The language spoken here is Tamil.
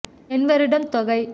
எண் வருடம் தொகை